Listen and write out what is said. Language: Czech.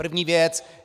První věc.